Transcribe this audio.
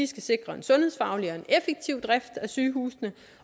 skal sikre en sundhedsfaglig og effektiv drift af sygehusene